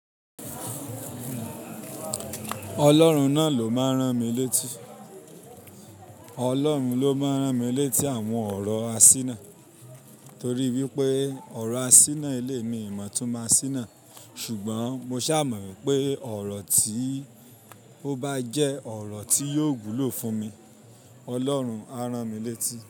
Ọlọ́run náà ló máa rán mi létí. Ọlọ́run ló máa rán mi létí àwọn ọ̀rọ̀ asínà torí wípé ọ̀rọ̀ asínà eléyi mi o mọ̀ itúnmo asíná ṣùgbọ́n mo ṣà mọ̀ wipé ọ̀rọ̀ tí ó bá jẹ́ ọ̀rọ̀ tí yóò wùlò fún mi, ọlọ́run á rán mi létí.